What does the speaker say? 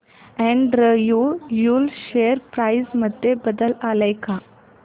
Andrew Yule share price मध्ये बदल आलाय का